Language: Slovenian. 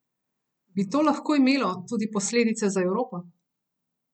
Bi to lahko imelo tudi posledice za Evropo?